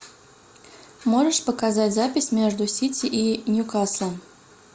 можешь показать запись между сити и ньюкаслом